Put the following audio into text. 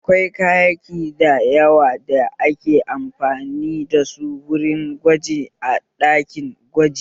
Akwai kayaki da yawa da ake amfani dasu wurin gwaji a ɗakin gwaji